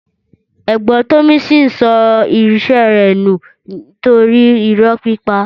Ẹ̀gbọ́n tọmisin sọ ise rẹ nú nitori ìró pípà.